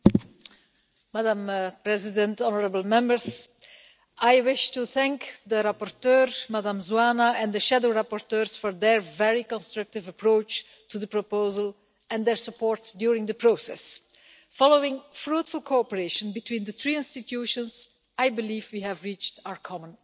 Madam President, I wish to thank the rapporteur, Ms Zoană, and the shadow rapporteurs for their very constructive approach to the proposal, and their support during the process. Following fruitful cooperation between the three EU institutions, I believe we have reached our common objective.